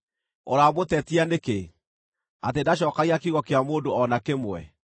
Ũramũtetia nĩkĩ, atĩ ndacookagia kiugo kĩa mũndũ o na kĩmwe?